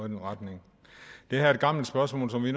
den retning det her er et gammelt spørgsmål som vi